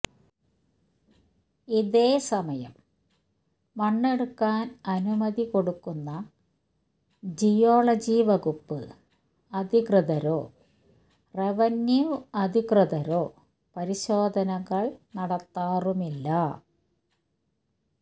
ഇതേ സമയം മണ്ണെടുക്കാൻ അനുമതി കൊടുക്കുന്ന ജിയോളജി വകുപ്പ് അധികൃതരോ റവന്യൂ അധികൃതരോ പരിശോധനകൾ നടത്താറുമില്ല